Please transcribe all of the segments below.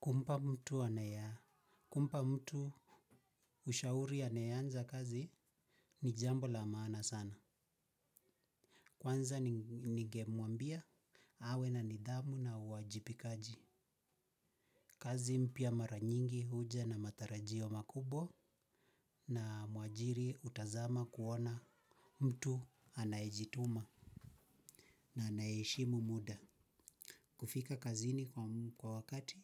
Kumpa mtu anaye, kumpa mtu ushauri anayeanza kazi ni jambo la maana sana. Kwanza ningemuambia, awe na nidhamu na uwajibikaji. Kazi mpya maranyingi huja na matarajio makubwa na muajiri utazama kuona mtu anaejituma na anaeeshimu muda. Kufika kazini kwa wakati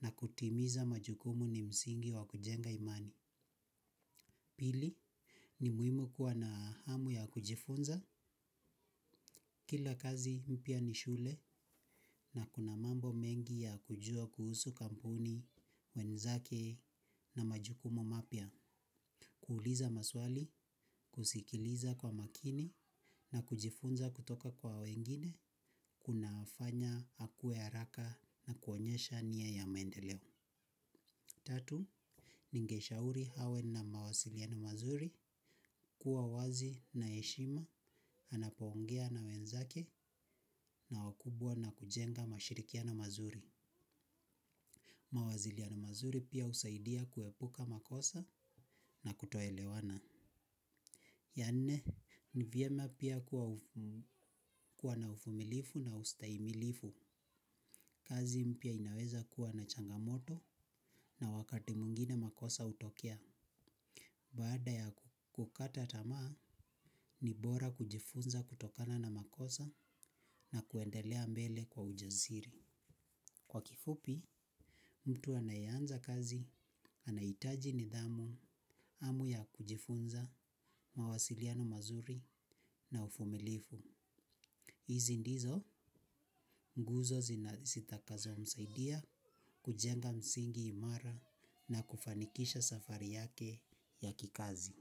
na kutimiza majukumu ni msingi wa kujenga imani. Pili, ni muhimu kuwa na hamu ya kujifunza, kila kazi mpya ni shule na kuna mambo mengi ya kujua kuhusu kampuni, wenzake na majukumu mapya, kuuliza maswali, kusikiliza kwa makini na kujifunza kutoka kwa wengine, kuna fanya akue haraka na kuonyesha nia ya mendeleo. Tatu, ningeshauri hawe na mawasiliano mazuri kuwa wazi na eshima, anapoongea na wenzake na wakubwa na kujenga mashirikiano mazuri. Mawaziliana mazuri pia usaidia kuepuka makosa na kutoelewana. Ya nne, ni vyema pia kuwa na ufumilifu na ustaimilifu. Kazi mpya inaweza kuwa na changamoto na wakati mwingine pia makosa hutokea. Baada ya kukata tamaa, ni bora kujifunza kutokana na makosa na kuendelea mbele kwa ujaziri. Kwa kifupi mtu anaeanza kazi anaitaji nidhamu, hamu ya kujifunza mawasiliano mazuri na uvumilivu. Izi ndizo, nguzo zitakazo msaidia, kujenga msingi imara na kufanikisha safari yake ya kikazi.